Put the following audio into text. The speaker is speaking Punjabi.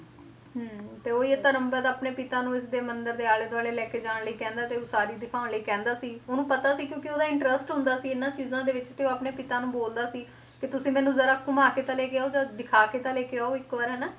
ਹਮ ਤੇ ਉਹ ਹੀ ਹੈ ਧਰਮ ਆਪਣੇ ਪਿਤਾ ਨੂੰ ਇਸਦੇ ਮੰਦਿਰ ਦੇ ਆਲੇ ਦੁਆਲੇ ਲੈ ਕੇ ਜਾਣ ਲਈ ਕਹਿੰਦਾ ਤੇ ਉਸਾਰੀ ਦਿਖਾਉਣ ਲਈ ਕਹਿੰਦਾ ਸੀ ਉਹਨੂੰ ਪਤਾ ਸੀ ਕਿਉਂਕਿ ਉਹਦਾ interest ਹੁੰਦਾ ਸੀ ਇਹਨਾਂ ਚੀਜ਼ਾਂ ਦੇ ਵਿੱਚ ਤੇ ਉਹ ਆਪਣੇ ਪਿਤਾ ਨੂੰ ਬੋਲਦਾ ਸੀ ਕਿ ਤੁਸੀਂ ਮੈਨੂੰ ਜ਼ਰਾ ਘੁਮਾ ਕੇ ਤੇ ਲੈ ਕੇ ਆਓ ਜਾਂ ਦਿਖਾ ਕੇ ਤਾਂ ਲੈ ਕੇ ਆਓ ਇੱਕ ਵਾਰ ਹਨਾ,